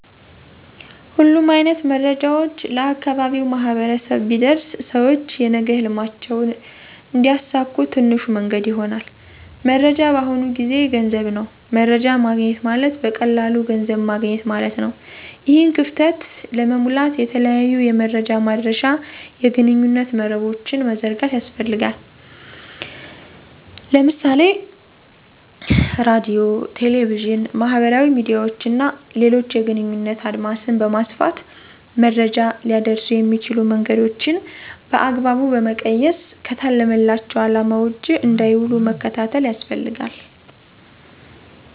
ሁሉም አይነት መረጃዎች ለአካባቢው ማህበረሰብ ቢደርስ ሰውች የነገ ህልማቸውን እንዲያሳኩ ትንሹ መንገድ ይሆናል። መረጃ በአሁኑ ጊዜ ገንዘብ ነው። መረጃ ማግኘት ማለት በቀላሉ ገንዘብ ማገኘት ማለት ነው። ይህን ክፍተት ለመሙላት የተለያዩ የመረጃ ማድረሻ የግንኙነት መረቦችን መዘርጋት ያስፈልጋል። ለምሳሌ ራድዮ፣ ቴሌቪዥን፣ ማህበራዊ ሚድያዎች እና ሌሎችን የግንኙነት አድማስን በማስፋት መረጃ ሊያደርሱ የሚችሉ መንገዶችን በአግባቡ በመቀየስ ከታለመላቸው አለማ ውጭ እንዳይዉሉ መከታተል ያስፈልጋል።